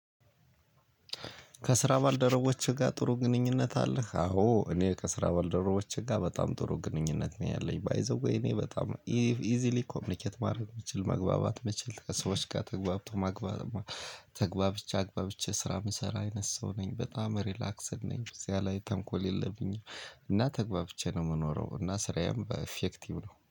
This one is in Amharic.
ከስራ ባልደረቦችህ ጋር ጥሩ ግንኙነት አለህ? አዎ እኔ ከስራ ባልደረቦቼ ጋር በጣም ጥሩ ግንኙነት ነው ያለኝ ባይ ዘ ዌይ። እኔ በጣም ኢዝሊ ኮሚኒኬት ማድረግ የምችል መግባባት ምችል ከሰዎች ጋር ተግባብቶ ማግባባት። ተግባብቼ አግባብቼ ስራ የምሰራ አይነት ሰው ነኝ በጣም ሪላክስድ ነኝ በዚያ ላይ ተንኮል የለብኝም። እና ተግባብቼ ነው የምኖረው እና ስራዬም ኢፌክቲቭ ነው